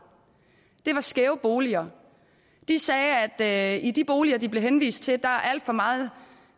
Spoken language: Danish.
var skæve boliger de sagde at i de boliger de blev henvist til var der alt for meget